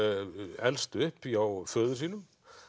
elst upp hjá föður sínum